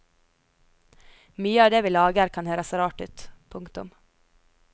Mye av det vi lager kan høres rart ut. punktum